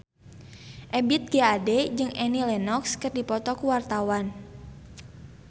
Ebith G. Ade jeung Annie Lenox keur dipoto ku wartawan